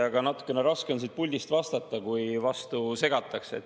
Aga natukene raske on siit puldist vastata, kui vahele segatakse.